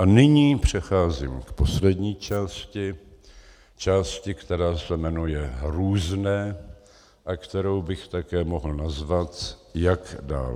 A nyní přecházím k poslední části - části, která se jmenuje různé a kterou bych také mohl nazvat "jak dál".